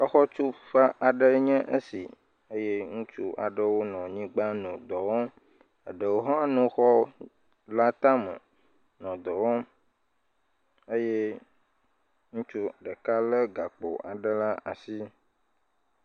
Xɔtuƒe aɖe enye esi eye ŋutsu aɖewo nɔ anyigbã nɔ dɔ wɔm ɖewo ha nɔ xɔ la tame nɔ dɔ wɔm eye ŋutsu ɖeka le gakpo aɖe le asi